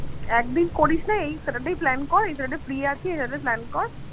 একদিন করিসনা এই saturday plan কর এই saturday free আছি saturday plan কর